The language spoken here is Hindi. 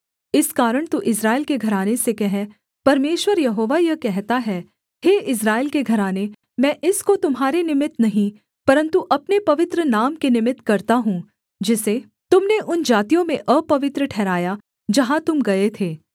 इस कारण तू इस्राएल के घराने से कह परमेश्वर यहोवा यह कहता है हे इस्राएल के घराने मैं इसको तुम्हारे निमित्त नहीं परन्तु अपने पवित्र नाम के निमित्त करता हूँ जिसे तुम ने उन जातियों में अपवित्र ठहराया जहाँ तुम गए थे